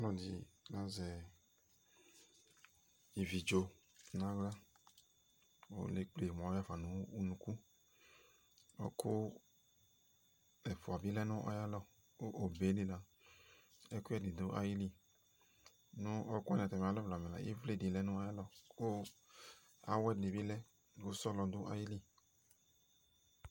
ɔlɔdi azɛ iviɖzo nawla ku lekple mufa aya unuku ɔwɔku ɛfua bilɛ nu ayalɔ ku obelila ɛkuɛdi du ayili nu ɔwɔku wani ayalɔ ivli dilɛ nayalɔ ku awɛ dibi lɛ ku sɔlɔ du ayili